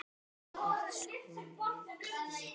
Þú ert sko nagli.